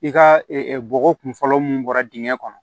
I ka bɔgɔ kun fɔlɔ mun bɔra dingɛ kɔnɔ